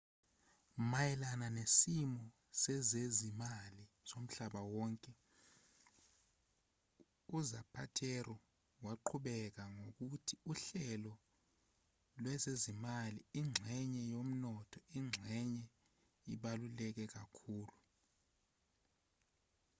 mayelana nesimo sezezimali somhlaba wonke uzapatero waqhubeka ngokuthi uhlelo lwezezimali ingxenye yomnotho ingxenye ebaluleke kakhulu